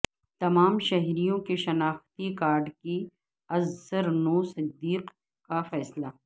تمام شہریوں کے شناختی کارڈ کی ازسرنو تصدیق کا فیصلہ